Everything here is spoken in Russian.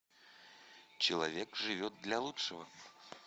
человек живет для лучшего